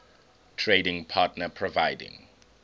trading partner providing